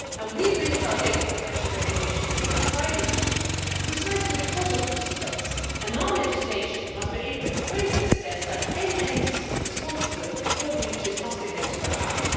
We built our Data Protection Regulation and Privacy Shield precisely because of these threats, and our legislation must be able to face this test and any entity responsible for breaches must be held to account.